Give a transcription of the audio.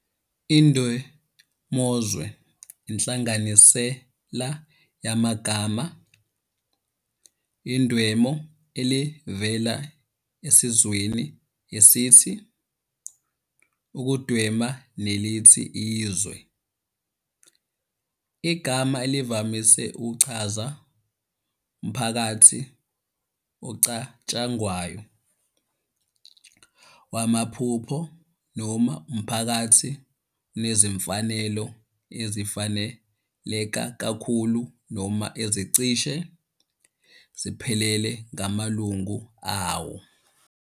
Indwemozwe, inhlanganisela yamagama 'indwemo' elivela esenzweni esithi 'ukundwema' nelithi 'izwe', igama elivamise ukuchaza umphakathi ocatshangwayo, wamaphupho noma umphakathi onezimfanelo ezifiseleka kakhulu noma ezicishe ziphelele kumalungu awo.